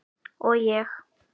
Og ég.